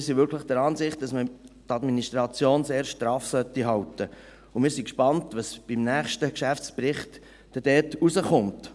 Wir sind wirklich der Ansicht, dass man die Administration sehr straff halten sollte, und wir sind gespannt, was beim nächsten Geschäftsbericht dann dort herauskommt.